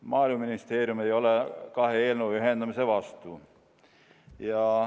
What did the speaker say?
Maaeluministeerium ei ole kahe eelnõu ühendamise vastu.